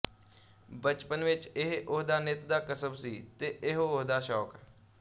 ਬਚਪਨ ਵਿੱਚ ਇਹ ਉਹਦਾ ਨਿੱਤ ਦਾ ਕਸਬ ਸੀ ਤੇ ਇਹੋ ਉਹਦਾ ਸ਼ੌਕ